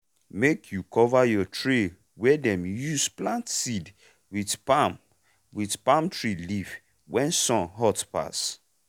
make you cover your tray wey dem use plant seed with palm with palm tree leaf when sun hot pass